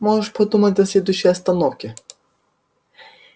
можешь подумать до следующей остановки